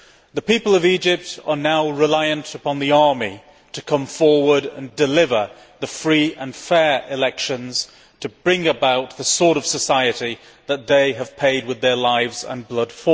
The people of Egypt are now reliant upon the army to come forward and deliver free and fair elections, to bring about the sort of society that they have paid for with their lives and blood.